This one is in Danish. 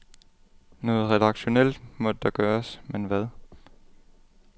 Noget redaktionelt måtte der gøres, men hvad?